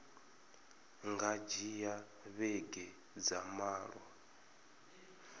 nga dzhia vhege dza malo